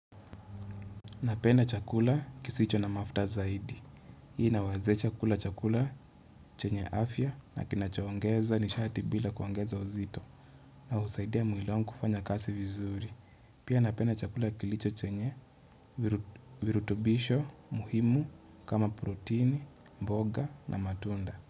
Napenda chakula kisicho na mafuta zaidi. Hii inawazesha kula chakula chenye afya na kinachoongeza nishati bila kuongeza uzito. Na husaidia mwili wangu kufanya kasi vizuri. Pia napena chakula kilicho chenye virutubisho muhimu kama protein, mboga na matunda.